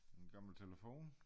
Sådan en gammel telefon?